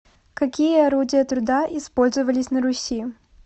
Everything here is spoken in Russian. какие орудия труда использовались на руси